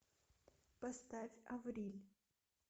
поставь авриль